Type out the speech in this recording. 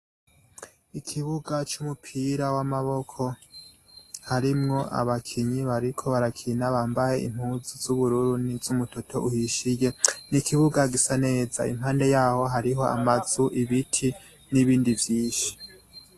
Ikibuga c'umupira w'amaboko harimwo abakinyi bariko barakina bambaye impuzu z'ubururu n'izumutoto uhishiye n'ikibuga gisa neza. Impande yaho hariho amazu, ibiti n'ibindi vyishi.